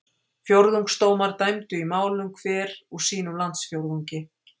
Fjórðungsdómar dæmdu í málum hver úr sínum landsfjórðungi.